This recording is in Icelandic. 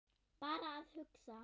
Bara að hugsa.